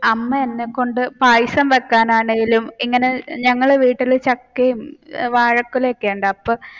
അമ്മ എന്നെകൊണ്ട് പായസം വെക്കാനാണെങ്കിലും ഇങ്ങനെ ഞങ്ങളുടെ വീട്ടിൽ ചക്കയും വാഴക്കൊലയോക്കെയുണ്ട് അപ്പൊ